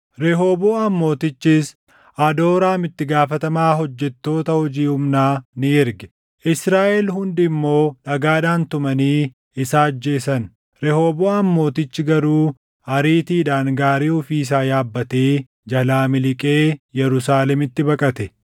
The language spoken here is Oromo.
Rehooboʼaam Mootichis, Adooraam itti gaafatamaa hojjettoota hojii humnaa ni erge; Israaʼel hundi immoo dhagaadhaan tumanii isa ajjeese. Rehooboʼaam Mootichi garuu ariitiidhaan gaarii ofii isaa yaabbatee jalaa miliqee Yerusaalemitti baqate.